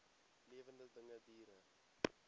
lewende dinge diere